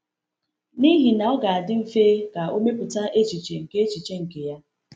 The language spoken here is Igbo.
N’ihi na ọ ga-adị mfe ka o mepụta echiche nke echiche nke ya.